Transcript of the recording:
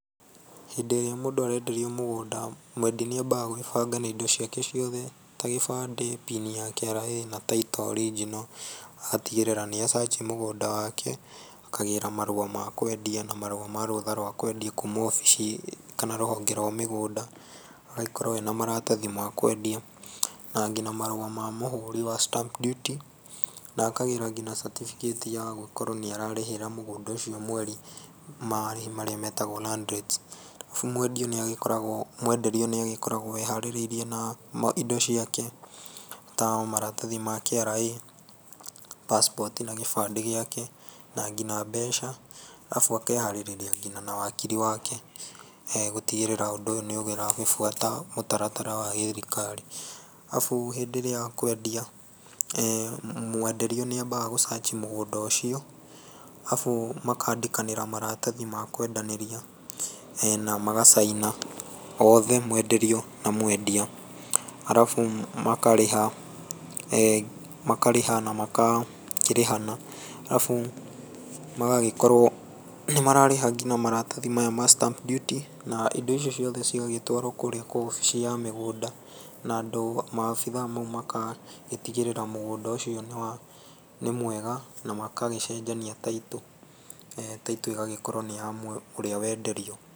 Hĩndĩ ĩrĩa mũndũ arenderio mũgũnda, mwendia nĩambaga gũĩbanga na indo ciake ciothe tagĩbandĩ, PIN ya KRA, na taitũ original, agagĩtigĩrĩra nĩa search mũgũnda wake, akagĩra marũa makwendia na marũa marũtha rwa kwendia kuuma obici, kana rũhonge rwa mĩgũnda, agagĩkorwo ena maratathĩ makwendia, na ngina marũa mamũhũri wa stamp duty, na akagĩra ngina certificate ya gũgikorwo nĩ ararĩhĩra mũgũnda ũcio, mweri marĩhi marĩa metagwo land rates, arabu mwenderio nĩ agĩkoragwo eharĩrĩirie na indo ciake, ta maratathi ma KRA, passport na gĩbandĩ gĩake, na ngina mbeca, arabu akeharĩrĩria ngina na wakiri wake, gũtigĩrĩra ũndũ ũyũ nĩ ũragĩbuata mũtaratara wa gĩthirikari. Arabu hĩndĩ ĩrĩa kwendia, mwenderio nĩambaga gũ search mũgũnda ũcio, arabu makandĩkanĩra maratathi makwendanĩria, na maga sign othe, mwenderio na mwendia. Arabu makarĩha, makarĩha na magakĩrĩhana, arabu magagĩkorwo nĩ mararĩha ngina maratathi maya ma stamp duty, na indo icio ciothe cigagitwarwo kũrĩa kwa wabici ya mĩgũnda, na andũ acio maabitha acio magatigĩrĩra mũgũnda ũcio nĩmwega, na magagĩcenjania taitũ, taitũ ĩgagĩkorwo nĩ yorĩa wenderio.